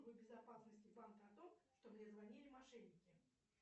безопасности банка о том что мне звонили мошенники